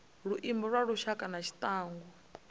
luimbo lwa lushaka na tshiangu